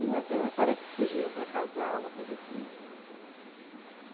E até parece que fugiram para casar, uma coisa assim.